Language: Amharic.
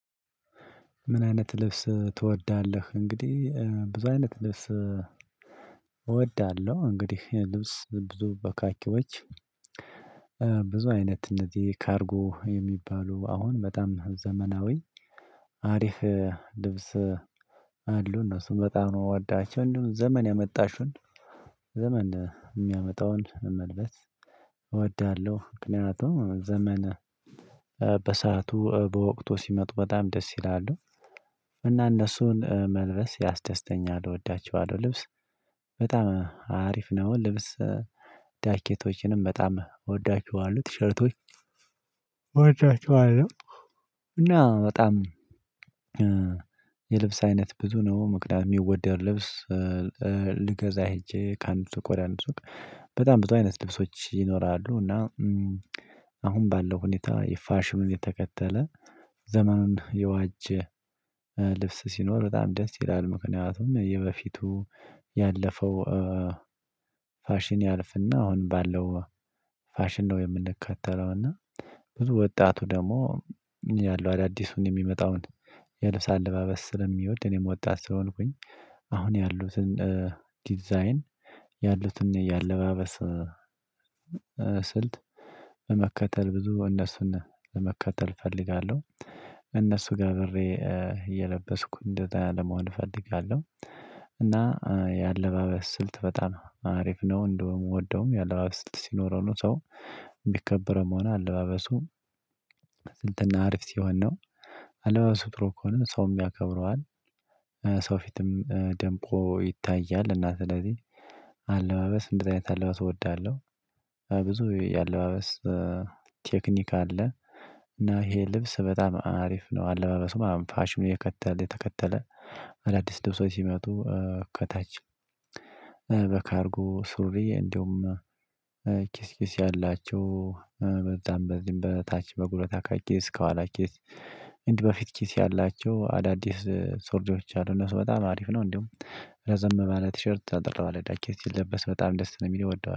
ምን አይነት ልብስ ትወዳለህ? እንግዲህ ብዙ አይነት ልብስ እወዳለሁ እንግዲህ ልብስ ብዙ በካኪዎች ብዙ አይነት እነዚህ ካርጎ የሚባሉ አሁን በጣም ዘመናዊ አሪፍ ልብስ አሉ እነሱን በጣም የምወዳቸው እንደውም ዘመን ያመጣሹን ዘመን የሚያመጣውን መልበስ እወዳለሁ ምክንያቱም ዘመነ በሰአቱ በወቅቱ ሲመጡ በጣም ደስ ይላሉ እና እነሱን መልበስ ያስደስተኛል እወዳቸዋለሁ ልብስ በጣም አሪፍ ነው ልብስ ዳኬቶችንም በጣም እወዳቸዋለሁ ቲሸርቶች እወዳቸዋለሁ እና በጣም የልብስ አይነት ብዙ ነው ምክንያቱም የሚወደድ ልብስ ልገዛ ሄጄ ከአንድ ሱቅ ወደ አንድ ሱቅ በጣም በጣም አይነት ልብሶች ይኖራሉ እና አሁን ባለው ሁኔታ ፋሽኑን የተከተለ ዘመኑን የዋጀ ልብስ ሲኖር በጣም ደስ ይላል ምክንያቱም የበፊቱ ያለፈው ፋሽን ያልፍና አሁን ባለው ፋሽን ነው የምንከተለው እና ብዙ ወጣቱ ደግሞ ያለው አዳዲሱን የሚመጣውን የልብስ አለባበስ ስለሚወድ እኔም ወጣት ስለሆንኩኝ አሁን ያሉትን ዲዛይን ያሉትን የአለባበስ ስልት መከተል ብዙ እነሱን ለመከተል እፈልጋለሁ እነሱ ጋ አብሬ እየለበስኩ እንደዚያ ለመሆን እፈልጋለሁ እና የአለባበስ ስልት በጣም አሪፍ ነው እንደውም የምወደውም የአለባበስ ስልት ሲኖረው ነው ሰው የሚከበረውም ሆነ አለባበሱ፤ እንትን አሪፍ ሲሆን ነው አለባበሱ ጥሩ ከሆነ ሰውም ያከብረዋል ሰው ፊትም ደምቆ ይታያል እና ስለዚህ አለባበስ እንደዚህ አይነት አለባበስ እወዳለሁ፤ ብዙ የአለባበስ ቴክኒክ አለ እና ይሄ ልብስ በጣም አሪፍ ነው አለባበሱ ማለት ነው ፋሽኑ የከተለ የተከተለ አዳዲስ ልብሶች ሲመጡ ከታች በካርጎ ሱሪ እንደውም ኪስ ኪስ ያላቸው በጣም በዚህም በታች በጉልበት ካኪስ እስከኋላ ኪስ እንዲህ በፊት ኪስ ያላቸው አዳዲስ ሱሪዎች አሉ እነሱ በጣም አሪፍ ነው እንዲሁም ረዘም ባለ ቲሸርት አጠር ባለ ጃኬት ሲለበስ በጣም ነው ደስ የሚለኝ እወደዋለሁ